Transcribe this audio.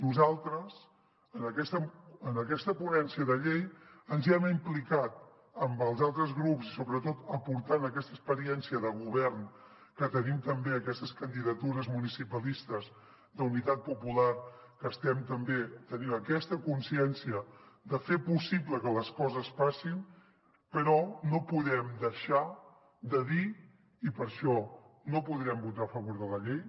nosaltres en aquesta ponència de llei ens hi hem implicat amb els altres grups i sobretot aportant aquesta experiència de govern que tenim també aquestes candidatures municipalistes d’unitat popular que tenim aquesta consciència de fer possible que les coses passin però no podem deixar de dir i per això no podrem votar a favor de la llei